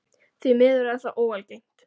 Því miður er það ekki óalgengt.